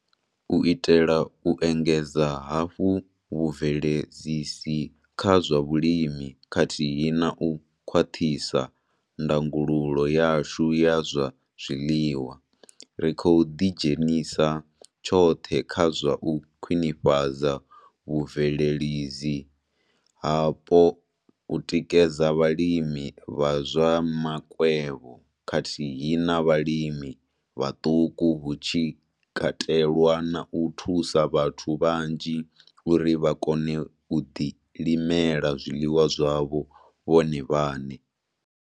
U itela u engedza hafhu vhubveledzisi kha zwa vhulimi khathihi na u khwaṱhisa ndangululo yashu ya zwa zwiḽiwa, ri khou ḓidzhenisa tshoṱhe kha zwa u khwinifhadza vhubveledzi hapo, u tikedza vhalimi vha zwa makwevho khathihi na vhalimi vhaṱuku hu tshi katelwa na u thusa vhathu vhanzhi uri vha kone u ḓilimela zwiḽiwa zwavho vhone vhaṋe.